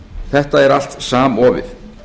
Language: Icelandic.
þetta er allt samofið